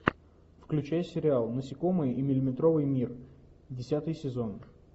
включай сериал насекомые и миллиметровый мир десятый сезон